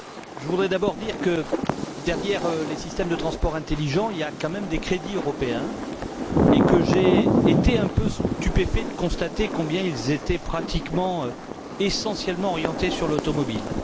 Je voudrais d'abord dire que, derrière les systèmes de transport intelligent, il y a quand même des crédits européens et que j'ai été un peu stupéfait de constater combien ils étaient presque essentiellement orientés vers l'automobile.